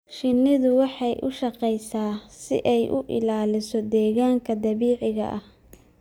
Shinnidu waxay u shaqeysaa si ay u ilaaliso deegaanka dabiiciga ah.